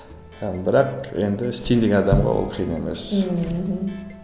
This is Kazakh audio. і бірақ енді істейін деген адамға ол қиын емес ммм мхм